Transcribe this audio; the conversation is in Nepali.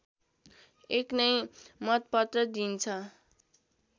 एक नै मतपत्र दिइन्छ